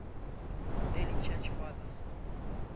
early church fathers